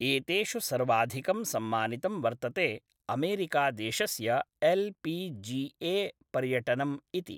एतेषु सर्वाधिकं सम्मानितं वर्तते अमेरिकादेशस्य एल् पि जि ए पर्यटनम् इति।